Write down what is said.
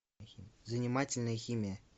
занимательная химия